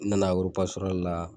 N nana la